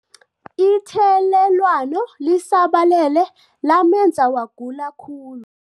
Ithelelwano lisabalele lamenza wagula khulu.